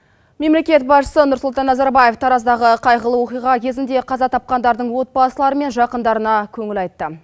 мемлекет басшысы нұрсұлтан назарбаев тараздағы қайғылы оқиға кезінде қаза тапқандардың отбасылары мен жақындарына көңіл айтты